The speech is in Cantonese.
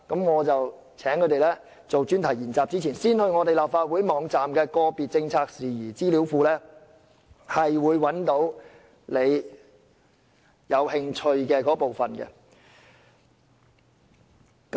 我請他們作專題研習前，先到立法會網站的個別政策事宜資料庫，找出他們感興趣的議題。